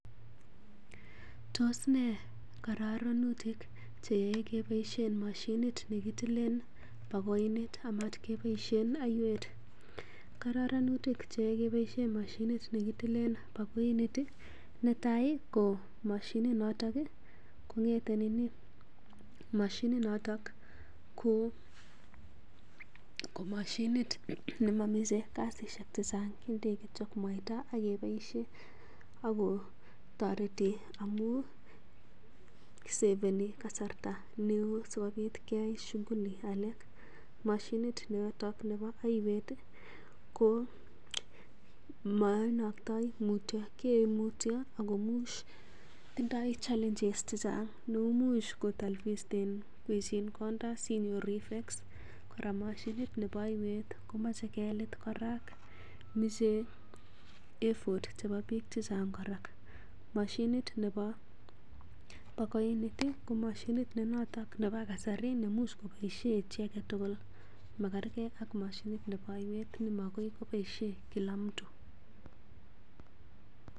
Tos nee kororonutik che yaei keboisien mashinit ne kitilen bakoinit amat keboisien oiwet? Koronutik che keboisien mashinit nekitilen bakoinit ih ko netai ko mashinit noton kong'ete nini mashinit noton ko mashinit noton nemomise kasisiek chechang indei kityo mwaita ak iboisien ako toreti amu seveni kasarta neoo sikobit keyai shughuli alak mashinit noton nebo oiwet ih ko moinoktoi mutyo kiyoe mutyo akomuch tindoo challenges chechang neimuch kotalbisten iboisien konda sinyoru effects kora mashinit nebo oiwet komoche kekit kora moche effort nebo biik chechang kora. Mashinit nebo bakoinit ko mashinit nebo kasari nemuch koboisien chii aketugul makergee ak mashinit nebo oiwet ne makoi keboisien kila mtu